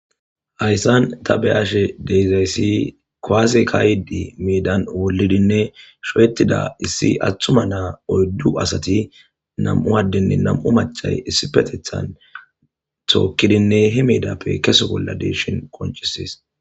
hayssan ta beyashe deyzayssi kuwase kaydi miidan wolidinne showettida issi atthuma naa oyddu asati nam7u addinne namu machay issi petethan tookkidinne hi miidappe kese bolladeshin koncisis